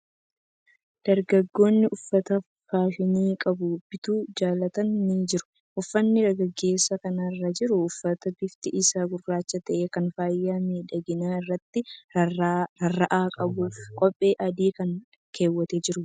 Dargaggoonni uffata faashinii qabu bituu jaalatan ni jiru. Uffanni dargaggeessa kana irra jiru uffata bifti isaa gurraacha ta'e, kan faaya miidhaginaa irratti rarraa'an qabuu fi kophee adii kan kaawwatee jirudha.